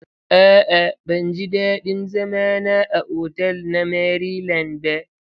A'a ban ji dadin zama na a otal na Maryland ba.